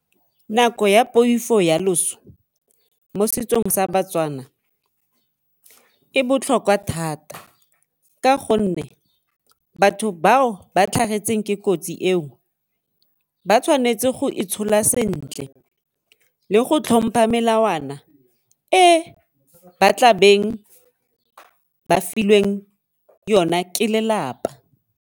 Nako ya poifo ya loso mo setsong sa baTswana e botlhokwa thata ka gonne batho bao ba tlhagetseng ke kotsi eo ba tshwanetse go itshola sentle le go tlhompha melawana e ba tla beng ba filweng yona ke lelapa.